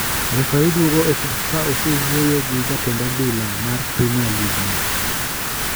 Refari duogo e pap ka osewuoyo gi jatend adhula mar premier league no.